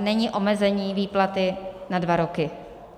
není omezení výplaty na dva roky.